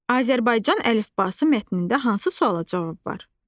Azərbaycan əlifbası mətnində hansı suala cavab var?